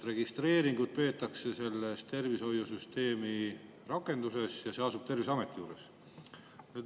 Registreeringuid peetakse selles tervishoiusüsteemi rakenduses ja see asub Terviseameti juures.